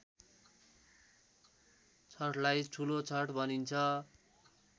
छठलाई ठूलो छठ भनिन्छ